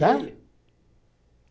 Tá?